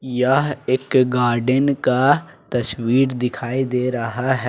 यह एक गार्डेन का तस्वीर दिखाई दे रहा है।